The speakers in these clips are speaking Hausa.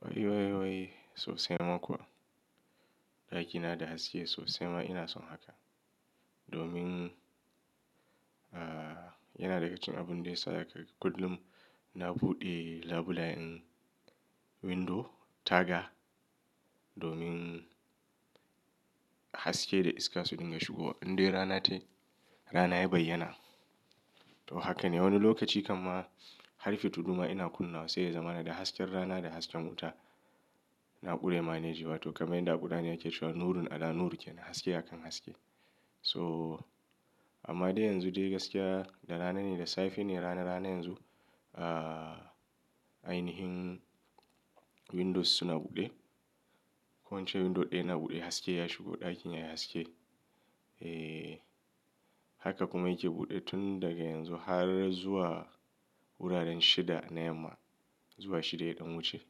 Wai, wai, wai sosai ma kuwa. Ɗakina da haske sosai ma ina son haka. Domin, aah yana daga cikin abun da ya sa daka kullum na buɗe labulayen window taga domin haske da iska su dinga shigowa. Indai rana tayi rana ya bayyana. To haka ne wani lokaci kamma har fi tuduma ina kunna wa sai ya zama na da hasken rana da hasken wuta. Na ƙure maneji wato kamar yadda ƙudani yake cewa "nurun a da nur ke, haske a kan haske." So amma dai yanzu dai gaskiya da rana ne da safe ne rana, rana yanzu aah ainihin windows suna buɗe. Ko ince window ɗaya ina buɗe haske ya shigo ɗakin yayi haske. Eh haka kuma yake buɗe tun daga yanzu har zuwa wuraren shida na yamma, zuwa shida ya ɗan wuce.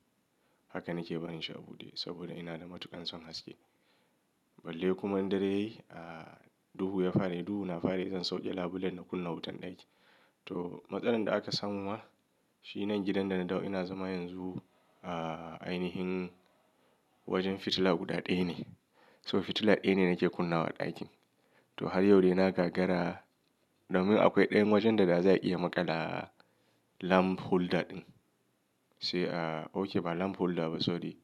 Haka nake barin shi a buɗe saboda ina da matuƙin son haske. Balle kuma in dare yayi a duhu ya fara, duhu na fara yi zan sauke labulen na kunna wutan ɗaki. To matsalan da aka samu ma shi nan gidan da na dawo ina zama yanzu aah ainihin wajen fitila guda ɗaya ne. So fitila ɗaya ne nake kunna wa ɗakin. To har yau dai na gagara domin akwai ɗayan wajen da za a iya maƙala lamp holder ɗin. Sai aah okay ba lamp holder ba sorry.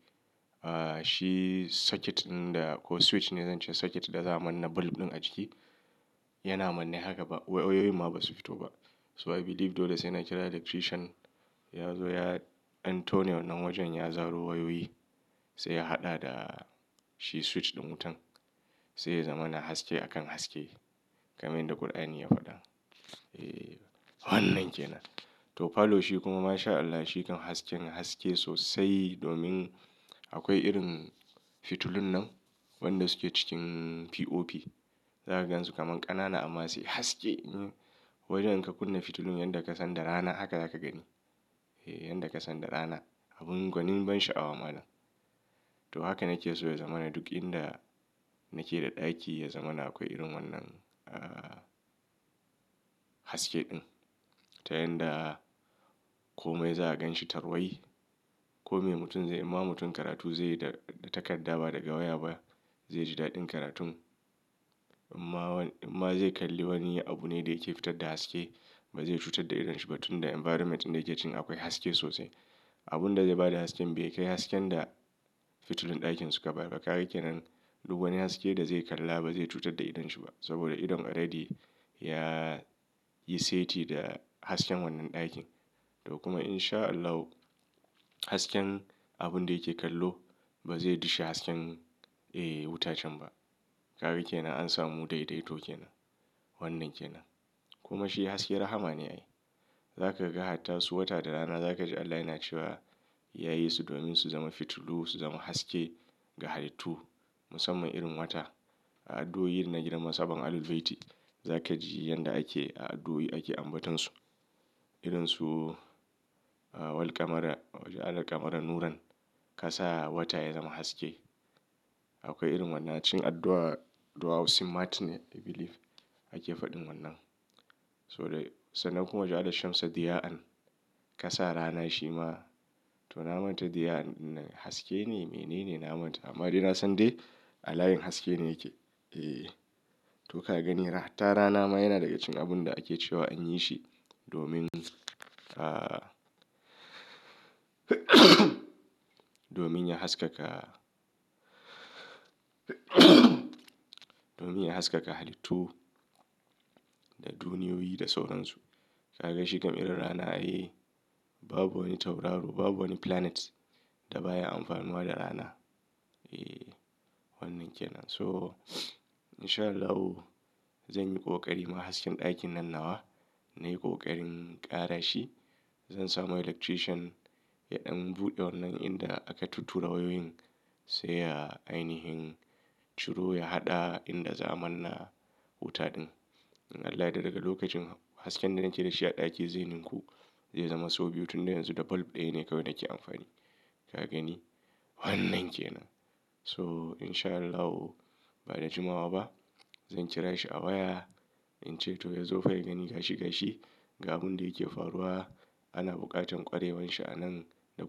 Aah shi socket ɗin da ko switch ne zan ce socket da za a manna bulb ɗin a ciki yana manne haka ba wayoyi ma basu fito ba. So I believe dole sai na kira electrician ya zo ya an taune wannan wajen ya zaro wayoyi sai ya haɗa da shi switch da wutan. Sai ya zama na haske a kan haske kamar yanda ƙudani ya faɗa. Eh wannan kenan. To falo shi kuma masha Allah shi kan hasken haske sosai domin akwai irin fitulun nan wanda suke cikin POP. Za ka gan su kaman ƙanana amma sai haske. Wajen da ka kunna fitulun yan da ka san da rana haka za ka gani. Eh yan da ka san da rana. Abin gwanin ban sha'awa malam. To haka nake so ya zama na duk inda nake da ɗaki ya zama na akwai irin wannan aah haske ɗin. Ta yanda kome za a ganshi tarwai. Kome mutum zai, in ma mutum karatu zai yi da takarda ba da gawa ba zai ji daɗin karatu. In ma, in ma zai kalli wani abu ne da yake fitar da haske ba zai cutar da idon shi ba tun da environment ɗin da yake cikin akwai haske sosai. Abun da zai ba da hasken bai kai hasken da fitulun ɗakin suka ba. Bakake nan duk wani haske da zai kalla ba zai cutar da idon shi ba saboda idon already ya yi seti da hasken wannan ɗakin. To kuma insha Allah hasken abun da yake kallo ba zai dushe hasken eh wutacen ba. Kaga kenan an samu daidaito kenan. Wannan kenan. Kuma shi haske rahama ne ai. Zaka ga hatta su wata da rana za ka ji Allah yana cewa ya yi su domin su zama fitulu, su zama haske ga halittu musamman irin wata a addu'oin na gidan masaba Al-Baiti za ka ji yanda ake a addu'o'i ake ambatansu. Irin su aah walqamara, ju'alar qamara nuran kasa wata ya zama haske. Akwai irin wannan cin addu'a, addu'au simat ne I believe ake faɗin wannan. So dai sannan kuma ju'alar shamssa di ya'an kasa rana shi ma to na manta di ya'an ɗin haske ne me nene na manta. Amma dai na san dai alayin haske ne yake. Eeh to ka gani har hatta rana ma yana daga cikin abun da ake cewa in yi shi domin aah domin ya haskaka domin ya haskaka halittu da duniyoyi da sauransu. Ka ga shi kam irin rana ai babu wani tauraro babu wani planet da baya amfanuwa da rana. Eeh wannan kenan. So insha Allahu zan yi ƙoƙari ma hasken ɗakin nan nawa. Na yi ƙoƙarin ƙara shi. Zan samo electrician ya ɗan buɗe wannan inda aka tuttura wayoyin sai ya ainihin ciro ya haɗa inda za a manna wuta ɗin. Don Allah da daga lokacin hasken da nake da shi a ɗaki zenenku zai zama so biyu tun da yanzu da bulb ɗaya ne kawai nake amfani. Ka gani wannan kenan. So insha Allahu ba da jimawa ba zan kira shi a waya in ce to ya zo fa ya gani gashi gashi ga abun da yake faruwa. Ana buƙatan kwarewan shi a nan da.